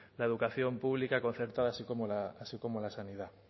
la educación pública concertada así como la sanidad